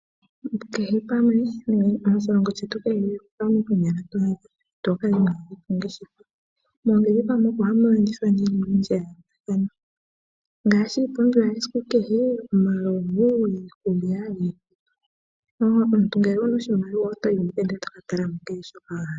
Moshilongo shetu kehe pamwe mpoka pu na aantu ito kala inoo adha po ongeshefa. Moongeshefa moka ohamu landithwa oyindji ya yoolokathana ngaashi iipumbiwa yesiku kehe, omalovu niikulya. Omuntu ngele owu na oshimaliwa oto yi mo owala e to ka tala mo shoka wa hala.